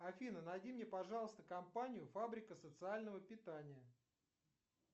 афина найди мне пожалуйста компанию фабрика социального питания